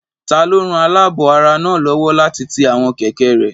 Taló ran alaabo ara náà lówó láti ti àwọn kẹ̀kẹ́ rẹ?